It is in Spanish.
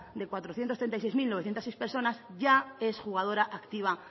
de cuatrocientos treinta y seis mil novecientos seis personas ya es jugadora activa